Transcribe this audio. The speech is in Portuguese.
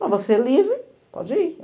Mas você é livre, pode ir.